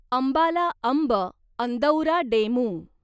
Ambala Amb Andaura DEMU